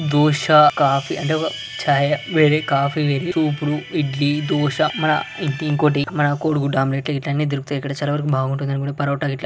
Dosa coffee అంటే ఛాయి వేరే కాఫీ వేరే సూపులు ఇడ్లీ దోశ మన ఇంకోటి మన కోడి గుడ్డు ఆమ్లెట్ గిట్ల అన్నీ దొరుకుతాయి ఇక్కడ చాలా బాగుంటుంది అని కూడా పరోటా గిట్ల.